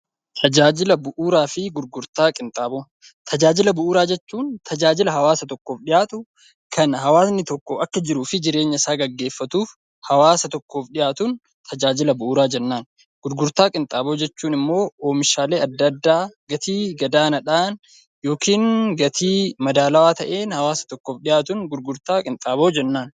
Tajaajila bu'uuraa jechuun tajaajila hawaasa tokkoof dhiyaatu kan hawaasni tokko jiruu fi jireenya isaa gaggeeffatuuf hawaasa tokkoof dhiyaatuuf tajaajila bu'uuraa jennaan. Gurgurtaa qinxaaboo jechuun immoo oomishaalee adda addaa gatii gadaanaadhaan yookiin gatii madaalawaa ta'een hawaasa tokkoof dhiyaatuun gurgurtaa qinxaaboo jennaan.